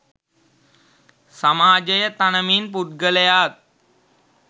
සමාජය තනමින් පුද්ගලයාත්